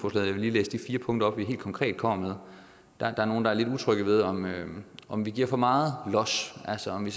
læse de fire punkter op vi helt konkret kommer med der er nogle der er lidt utrygge ved om ved om vi giver for meget los altså om vi